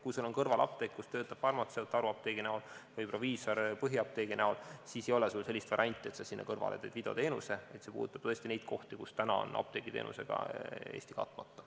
Kui seal on kõrval apteek, kus töötab farmatseut haruapteegi näol või proviisor põhiapteegi näol, siis ei ole sul sellist varianti, et sa sinna kõrvale teed videoteenuse, vaid see puudutab tõesti neid kohti, kus Eesti on praegu apteegiteenusega katmata.